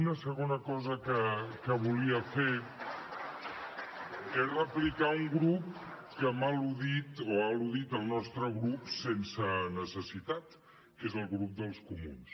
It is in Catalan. una segona cosa que volia fer és replicar un grup que m’ha al·ludit o ha alludit el nostre grup sense necessitat que és el grup dels comuns